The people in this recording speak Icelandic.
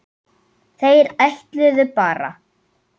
Þeir ætluðu bara